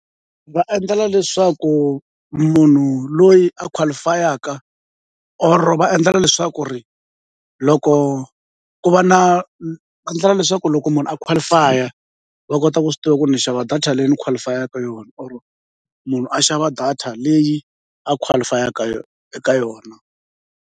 Va endlela leswaku munhu loyi a qualify-a or va endlela leswaku ri loko ku va na endlela leswaku loko munhu a qualify-a va kota ku swi tiva ku ni xava data leyi ni qualify-aka yona or munhu a xava data leyi a qualify-aka eka yona.